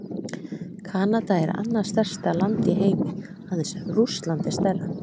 Kanada er annað stærsta land í heimi, aðeins Rússland er stærra.